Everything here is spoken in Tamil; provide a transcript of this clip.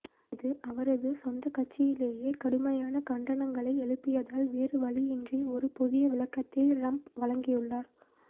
இது அவரது சொந்தக்கட்சியிலேயே கடுமையான கண்டனங்களை எழுப்பியதால் வேறுவழியின்றி ஒரு புதியவிளக்கத்தை ரம்ப் வழங்கியுள்ளார்